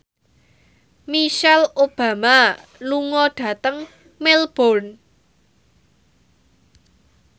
Michelle Obama lunga dhateng Melbourne